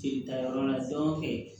Jelita yɔrɔ la